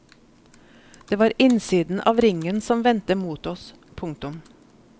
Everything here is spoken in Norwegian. Det var innsiden av ringen som vendte mot oss. punktum